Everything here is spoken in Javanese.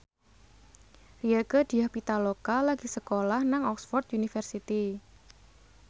Rieke Diah Pitaloka lagi sekolah nang Oxford university